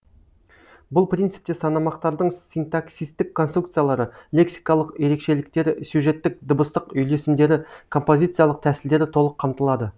бұл принципте санамақтардың синтаксистік конструкциялары лексикалық ерекшеліктері сюжеттік дыбыстық үйлесімдері композициялық тәсілдері толық қамтылады